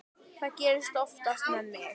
Það gerist oftast með mig.